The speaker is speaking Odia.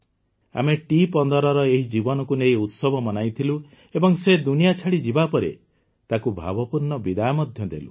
ଆମେ ଟି୧୫ର ଏହି ଜୀବନକୁ ନେଇ ଉତ୍ସବ ମନାଇଥିଲୁ ଏବଂ ସେ ଦୁନିଆ ଛାଡ଼ି ଯିବାପରେ ତାକୁ ଭାବପୂର୍ଣ୍ଣ ବିଦାୟ ମଧ୍ୟ ଦେଲୁ